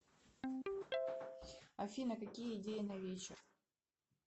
афина какие идеи на вечер